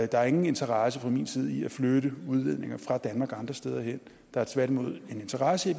der er ingen interesse fra min side i at flytte udledninger fra danmark og andre steder hen der er tværtimod en interesse i